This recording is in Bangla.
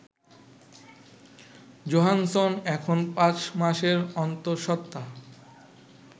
জোহানসন এখন পাঁচ মাসের অন্তঃসত্তা